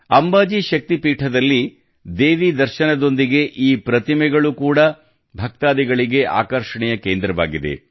ಅಂಬಾಜಿ ಶಕ್ತಿ ಪೀಠದಲ್ಲಿ ದೇವಿ ದರ್ಶನದೊಂದಿಗೆ ಈ ಪ್ರತಿಮೆಗಳು ಕೂಡಾ ಭಕ್ತಾದಿಗಳಿಗೆ ಆಕರ್ಷಣೆಯ ಕೇಂದ್ರವಾಗಿದೆ